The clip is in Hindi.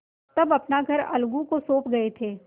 तब अपना घर अलगू को सौंप गये थे